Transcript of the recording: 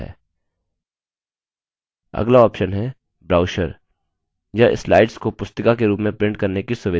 अगला option है brochure यह slides को पुस्तिका के रूप में print करने की सुविधा देता है जो binding के लिए आसान हो